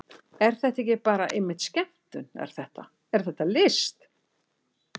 Er þetta ekki bara einmitt skemmtun, er þetta, er þetta list?